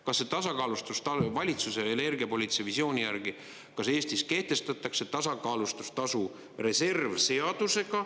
Kas see tasakaalustustasu valitsuse energiapoliitika visiooni järgi, kas Eestis kehtestatakse tasakaalustustasu reserv seadusega?